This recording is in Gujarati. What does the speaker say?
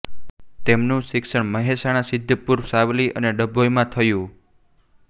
તેમનું શિક્ષણ મહેસાણા સિદ્ધપુર સાવલી અને ડભોઇમાં થયું